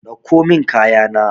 Dauko min kaya na.